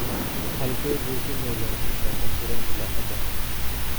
Halkee buu ku nool yahay papa shirandula hadda?